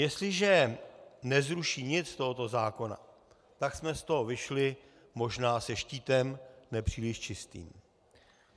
Jestliže nezruší nic z tohoto zákona, tak jsme z toho vyšli možná se štítem nepříliš čistým.